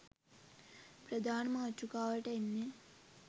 ප්‍රධාන මාතෘකාවට එන්නේ.